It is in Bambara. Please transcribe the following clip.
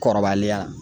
Kɔrɔbaliya